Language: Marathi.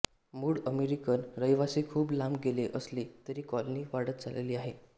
मूळ अमेरिकन रहिवासी खूप लांब गेले असले तरी कॉलनी वाढत चालली आहे